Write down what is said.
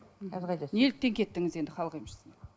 неліктен кеттіңіз енді халық емшісіне